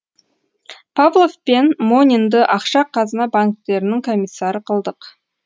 павлов пен монинді ақша қазына банктерінің комиссары қылдық